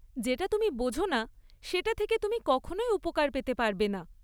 যেটা তুমি বোঝ না, সেটা থেকে তুমি কখনই উপকার পেতে পারবে না।